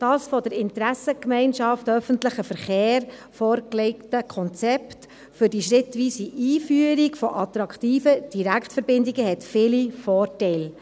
Das von der IGöV vorgelegte Konzept für die schrittweise Einführung von attraktiven Direktverbindungen hat viele Vorteile.